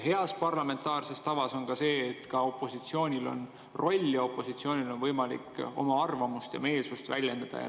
Hea parlamentaarse tava järgi on nii, et ka opositsioonil on roll ja opositsioonil on võimalik oma arvamust ja meelsust väljendada.